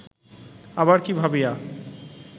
আবার কি ভাবিয়া